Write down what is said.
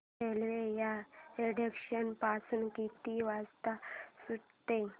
railway या station पासून किती वाजता सुटते